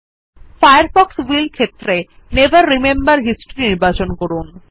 Firefox will ক্ষেত্রে never remember history নির্বাচন করুন